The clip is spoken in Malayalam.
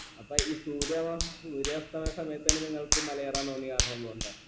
അപ്പൊ ഈ സൂര്യവോ സൂര്യാസ്തമയ സമയത്തന്നെ നിങ്ങൾക് മല കയറാൻ തോന്നിയ കാരണം എന്ത് കൊണ്ടാ